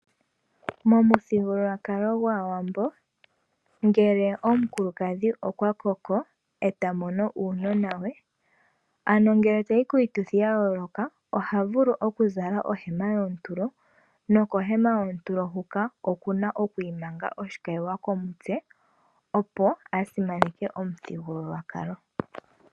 Momuthigululwakalo gwAawambo ngele omukulukadhi okwa koko eta mono uunona we ano ngele tayi kiituthi ya yooloka ohavulu okuzala ohema yoontulo nokomena yoontulo hoka okuna okwu imanga oshikayiwa komutse opo a simaneke omuthigululwakalo.